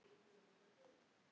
Það birtir alltaf til.